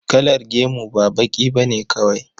Kalar gemu ba baƙi ba ne kawai.